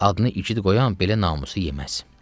Adını igid qoyan belə namusu eləməz.